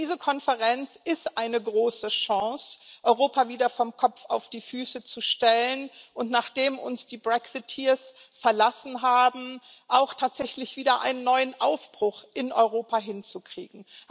Denn diese Konferenz ist eine große Chance, Europa wieder vom Kopf auf die Füße zu stellen, und nachdem uns die Brexiteers verlassen haben, auch tatsächlich wieder einen neuen Aufbruch in Europa hinzukriegen.